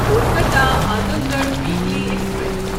Kolkata Azamgarh weekly express